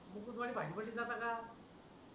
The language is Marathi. दूधवाले भाजी मंडित जातात का